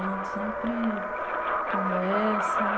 A gente sempre conversa...